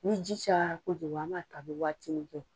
Ni ji cayara kojugu an b'a to a bɛ waatinin kɛ.